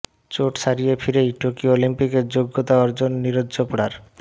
চোট সারিয়ে ফিরেই টোকিও অলিম্পিকে যোগ্যতা অর্জন নীরজ চোপড়ার